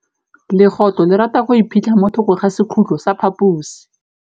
Legôtlô le rata go iphitlha mo thokô ga sekhutlo sa phaposi.